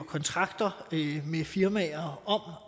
kontrakter med firmaer